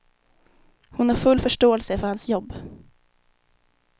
Hon har full förståelse för hans jobb.